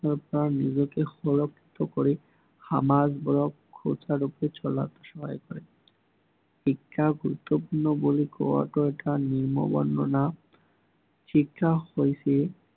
নিজকে ফলপ্ৰসু কৰি সমাজক সুচাৰুৰূপে চলাত সহায় কৰে। শিক্ষাক গুৰুত্বপূৰ্ণ বুলি কোৱাটো এটা বৰ্ণনা শিক্ষা হৈছে